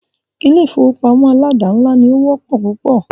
Ilé ìfọwọ́pamo aládàńlá ní o wọ́pọ̀ púpọ̀.